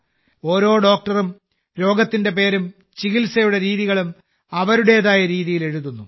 ഓരോ ഡോക്ടറും രോഗത്തിന്റെ പേരും ചികിത്സയുടെ രീതികളും അവരുടേതായ രീതിയിൽ എഴുതുന്നു